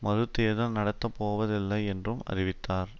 மறுதேர்தல் நடத்தப்போவதில்லை என்றும் அறிவித்தார்